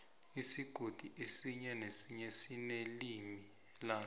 isigodi esinye nesinye sinelimi laso